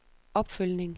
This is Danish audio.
opfølgning